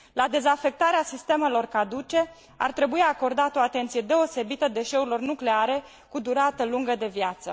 La dezafectarea sistemelor caduce ar trebui acordată o atenție deosebită deșeurilor nucleare, cu durată lungă de viață.